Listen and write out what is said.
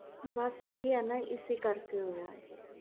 ਬਸ ਇਹੀ ਹੀ ਨਾ ਇਸੇ ਕਰਕੇ ਹੋਇਆ